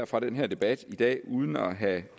fra den her debat i dag uden at have